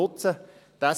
Nutzen wir es.